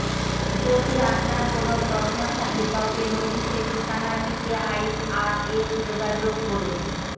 যদি আপনার কোন প্রশ্ন থাকে তবে নোটিশে ঠিকানাটিতে আইআরএস যোগাযোগ করুন